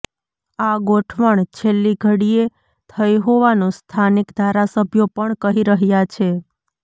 આ ગોઠવણ છેલ્લી ઘડીએ થઈ હોવાનું સ્થાનિક ધારાસભ્યો પણ કહી રહ્યા છે